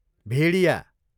भेडिया